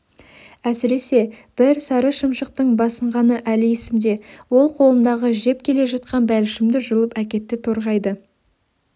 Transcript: әсіресе бір сары шымшықтың басынғаны әлі есімде ол қолымдағы жеп келе жатқан бәлішімді жұлып әкетті торғайды